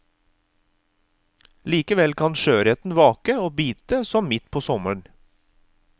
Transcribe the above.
Likevel kan sjøørreten vake og bite som midt på sommeren.